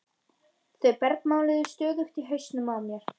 Þau bergmáluðu stöðugt í hausnum á mér.